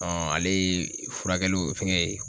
ale ye furakɛliw fɛngɛ ye